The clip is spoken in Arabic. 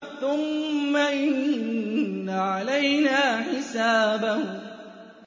ثُمَّ إِنَّ عَلَيْنَا حِسَابَهُم